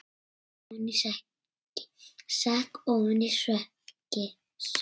Sekk ofan í sætið.